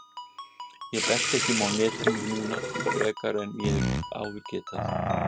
Ég berst ekki um í netinu núna frekar en ég hef áður getað.